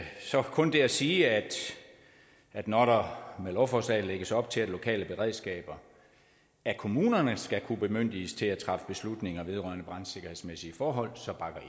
kun det at sige at at når der med lovforslaget lægges op til at lokale beredskaber af kommunerne skal kunne bemyndiges til at træffe beslutninger vedrørende brandsikkerhedsmæssige forhold så bakker